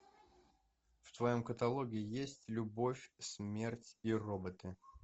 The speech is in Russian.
в твоем каталоге есть любовь смерть и роботы